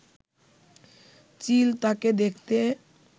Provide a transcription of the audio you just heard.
চিল তাকে দেখতে